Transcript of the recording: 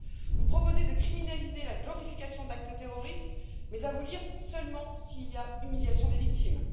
Vous proposez de criminaliser la glorification d'actes terroristes mais, à vous lire, seulement s'il y a humiliation des victimes.